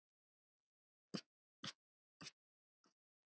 Þín dóttir, Gyða.